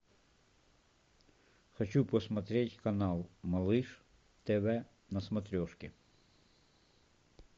хочу посмотреть канал малыш тв на смотрешке